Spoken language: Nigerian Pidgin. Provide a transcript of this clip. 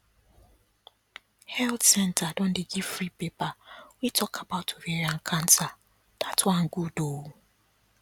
health centre don dey give free paper wey talk about ovarian cancer that one good um